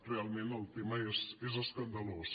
realment el tema és escandalós